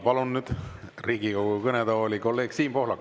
Palun nüüd Riigikogu kõnetooli kolleeg Siim Pohlaku.